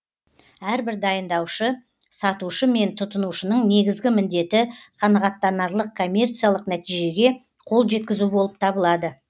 әрбір дайындаушы сатушы мен тұтынушының негізгі міндеті қанағаттанарлық коммерциялық нәтижеге қол жеткізу болып табылады